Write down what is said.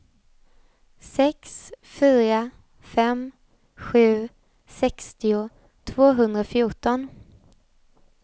sex fyra fem sju sextio tvåhundrafjorton